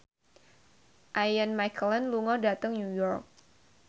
Ian McKellen lunga dhateng New York